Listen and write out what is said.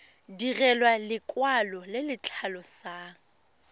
direlwa lekwalo le le tlhalosang